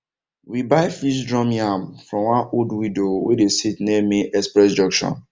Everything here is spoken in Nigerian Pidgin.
we buy feast drum yam from one old widow wey dey sit near main express junction